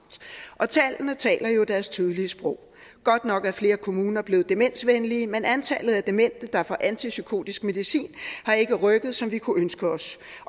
tallene taler jo deres tydelige sprog godt nok er flere kommuner blevet demensvenlige men antallet af demente der får antipsykotisk medicin har ikke rykket sig som vi kunne ønske os